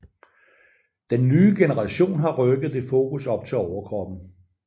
Den nye generation har rykket det fokus op til overkroppen